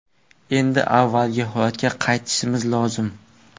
Endi avvalgi holatga qaytishimiz lozim.